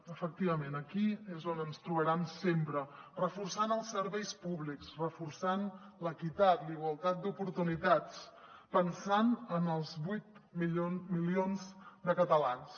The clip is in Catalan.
efectivament aquí és on ens trobaran sempre reforçant els serveis públics reforçant l’equitat la igualtat d’oportunitats pensant en els vuit milions de catalans